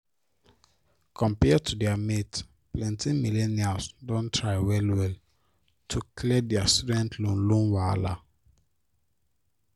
compared to their mates plenty millennials don try well well to clear their student loan loan wahala